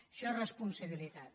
això és responsabilitat